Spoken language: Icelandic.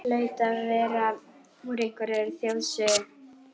Hlaut að vera úr einhverri þjóðsögunni.